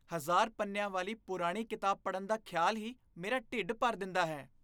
ਹਜ਼ਾਰ ਪੰਨਿਆਂ ਵਾਲੀ ਪੁਰਾਣੀ ਕਿਤਾਬ ਪੜ੍ਹਨ ਦਾ ਖਿਆਲ ਹੀ ਮੇਰਾ ਢਿੱਡ ਭਰ ਦਿੰਦਾ ਹੈ